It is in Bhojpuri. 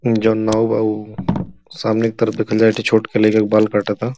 जउन नाउ बा उ सामने की तरफ देखल जाए ए ठे छोट के लइका के बाल काटता।